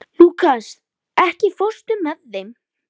Lúkas, ekki fórstu með þeim?